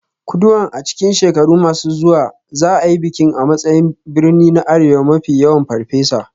Kuduan a cikin shekaru masu zuwa za a yi bikin a matsayin birni na arewa mafi yawan Farfesa.